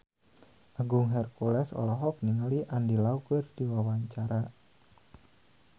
Agung Hercules olohok ningali Andy Lau keur diwawancara